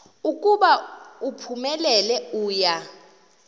ukuba uphumelele uya